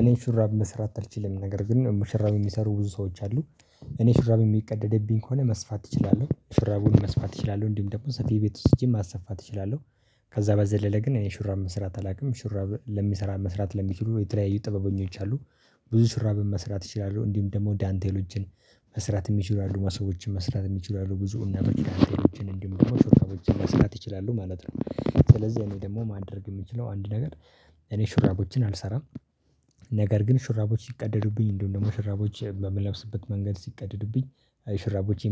እኔ ሹራብ መስራት አልችልም ነገር ግን ሹራብ የሚሰሩ ብዙ ሰዎች አሉ። እኔ ሹራብ የሚቀደድብኝ ከሆነ መስፋት እችላለሁ ሹራቡን መስፋት እችላለሁ እንዲሁም ደግሞ ሰፊ ቤት ወስጄ ማሰፋት እችላለሁ። ከዛ በዘለለ ግን እኔ ሹራብ መስራት አላውቅም ሹራብ ለሚሰራ መስራት ለሚችሉ የተለያዩ ጥበበኞች አሉ። ብዙ ሹራብ መስራት እችላለሁ እንዲሁም ደግሞ ዳንቴሎችን መስራት የሚችሉ አሉ ማሰቦችን መስራት የሚችሉ አሉ ብዙ እና በችላንቴ ውጪ እንደምንለው መስራት ይችላሉ ማለት ነው። ስለዚህ እኔ ደግሞ ማድረግ የምችለው አንድ ነገር እኔ ሹራቦችን አልሰራም። ነገር ግን ሹራቦች ሲቀደዱብኝ እንዲሁም ደግሞ ሽራቦች በምለብስበት መንገድ ሲቀደዱብኝ